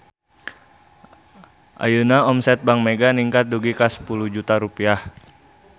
Ayeuna omset Bank Mega ningkat dugi ka 10 juta rupiah